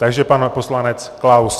Takže pan poslanec Klaus.